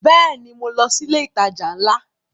Bẹ́ẹ̀ni, mo lọ sí ilé ìtajà ńlá